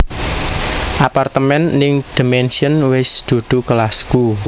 Apartemen ning The Mansion wes dudu kelasku